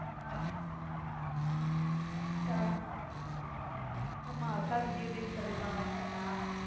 ஆஹ் ஆஹ் ஆமா அக்காவுக்கு due date சொல்லிருக்காங்கனு சொன்ன